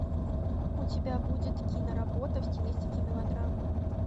у тебя будет киноработа в стилистике мелодрама